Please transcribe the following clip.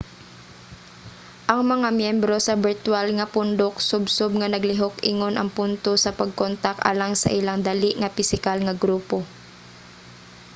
ang mga myembro sa birtwal nga pundok subsob nga naglihok ingon ang punto sa pagkontak alang sa ilang dali nga pisikal nga grupo